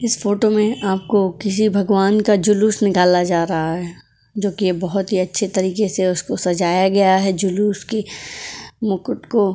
इस फोटो में आपको किसी भगवान का जुलूस निकाला जा रहा है जो कि बहुत ही अच्छे तरीके से उसको सजाया गया है जुलूस की मुकुट को --